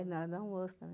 É, na hora do almoço também.